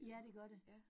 Ja det gør det